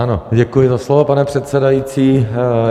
Ano, děkuji za slovo, pane předsedající.